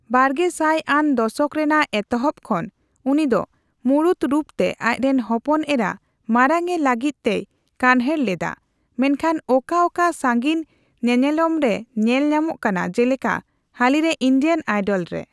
ᱵᱟᱨᱜᱮᱥᱟᱭ ᱟᱱ ᱫᱚᱥᱚᱠ ᱨᱮᱱᱟᱜ ᱮᱛᱚᱦᱚᱵ ᱠᱷᱚᱱ, ᱩᱱᱤᱫᱚ ᱢᱩᱬᱩᱛ ᱨᱩᱯ ᱛᱮ ᱟᱡᱨᱤᱱ ᱦᱚᱯᱚᱱ ᱮᱨᱟ ᱢᱟᱨᱟᱝ ᱮ ᱞᱟᱹᱜᱤᱫ ᱛᱮᱭ ᱠᱟᱱᱦᱮᱲ ᱞᱮᱫᱟ, ᱢᱮᱱᱠᱷᱟᱱ ᱚᱠᱟᱼᱚᱠᱟ ᱥᱟᱹᱜᱤᱧ ᱧᱮᱱᱮᱞᱚᱢ ᱨᱮ ᱧᱮᱞ ᱧᱟᱢᱚᱜ ᱠᱟᱱᱟ, ᱡᱮᱞᱮᱠᱟ ᱦᱟᱹᱞᱤ ᱨᱮ ᱤᱱᱰᱤᱭᱟᱱ ᱟᱤᱰᱚᱞ ᱨᱮ ᱾